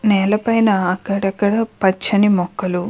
నేల పైన అక్కడక్కడా పచ్చని మొక్కలు --